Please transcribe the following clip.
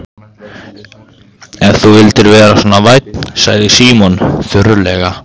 Ef þú vildir vera svo vænn sagði Símon þurrlega.